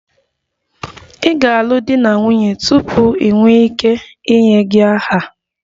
Ị ga-alụ di na nwunye tupu ị nwee ike inye gị aha